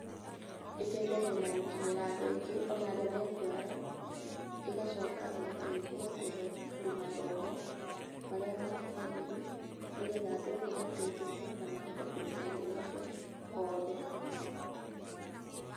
Ĩteithagia na gũkinyĩra andũ aingĩ o na arĩa me kũraya, ĩgacoka ĩgateithia kũhe andũ mathomo marĩa makinyanĩru, nĩ getha andũ othe mateithĩke na mahote kũruta wĩra ũcio othe hamwe.